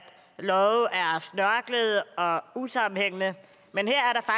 love er snørklede og usammenhængende men